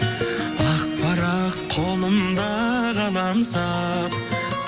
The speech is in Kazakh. ақ парақ қолымда қаламсап